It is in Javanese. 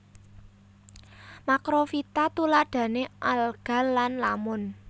Makrofita tuladhane alga lan lamun